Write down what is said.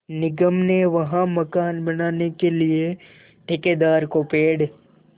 निगम ने वहाँ मकान बनाने के लिए ठेकेदार को पेड़